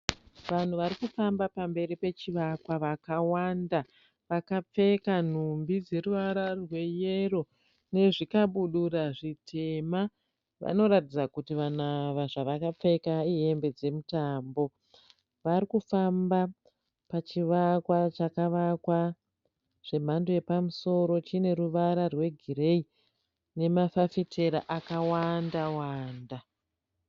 Vanhu varikufamba pamberi pechivakwa vakawanda. Vakapfeka nhumbi dzeruvara rweyero nezvikabudura zvitema. Vanoratidza kuti vanhu ava zvavakapfeka ihembe dzemutambo. Vari kufamba pachivakwa chakavakwa zvemhando yapamusoro. Chine ruvara rwegireyi nemafafitera akawanda-wanda.